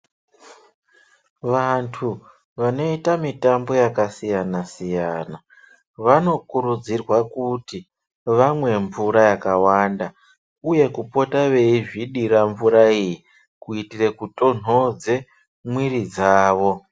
Vantu vanoita mitambo yakasiyana-siyana, vanokurudzirwa kuti ,vamwe mvura yakawanda, uye kupota veizvidira mvura iyi kuitire kutonhodze mwiri dzavo.